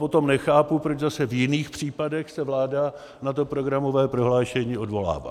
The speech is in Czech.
Potom nechápu, proč zase v jiných případech se vláda na to programové prohlášení odvolává.